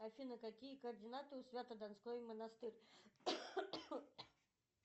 афина какие координаты у свято донской монастырь